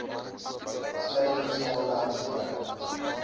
suiwerings aanleg onttrek